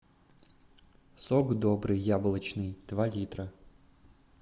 сок добрый яблочный два литра